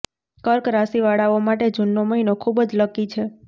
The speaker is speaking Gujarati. કર્ક રાશિવાળાઓ માટે જૂનનો મહીનો ખૂબ જ લકી છે